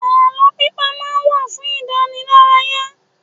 Àlọ́ pípa má ń fún idanilaraya